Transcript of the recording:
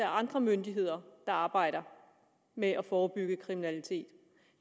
andre myndigheder der arbejder med at forebygge kriminalitet